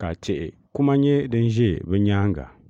ka tihi kuma nyɛ din ʒe bɛ nyaaŋa.